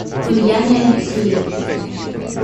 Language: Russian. ульяне алексеевне